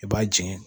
I b'a jeni